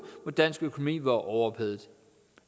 hvor dansk økonomi var overophedet